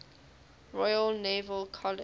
royal naval college